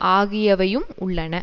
ஆகியவையும் உள்ளன